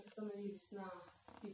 весна